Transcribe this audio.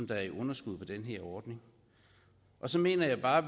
der er i underskud på den her ordning så mener jeg bare